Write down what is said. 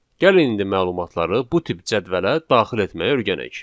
Gəlin indi məlumatları bu tip cədvələ daxil etməyi öyrənək.